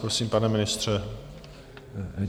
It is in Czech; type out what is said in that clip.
Prosím, pane ministře.